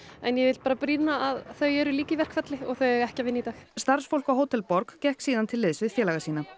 en ég vil bara brýna að þau eru líka í verkfalli og þau eiga ekki að vinna í dag starfsfólk á Hótel borg gekk síðan til liðs við félaga sína